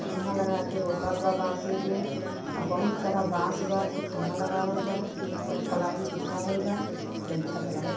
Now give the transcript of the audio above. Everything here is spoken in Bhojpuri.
खम्भा लगा के रोकल बा बासे के आ बहुत सारा बांस बा जउन खम्बा लगावल बा और प्लाय बिछावल बा जउन छत लगल --